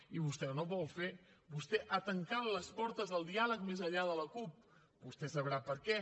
i vostè no ho vol fer vostè ha tancat les portes al diàleg més enllà de la cup vostè deu saber per què